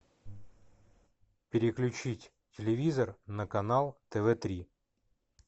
переключить телевизор на канал тв три